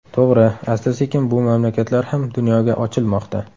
To‘g‘ri, asta-sekin bu mamlakatlar ham dunyoga ochilmoqda.